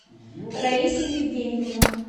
раиса евгеньевна